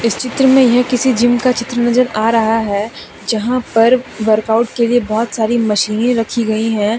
चित्र में यह किसी जिम का चित्र नजर आ रहा है जहां पर वर्कआउट के लिए बहुत सारी मशीने रखी गई हैं।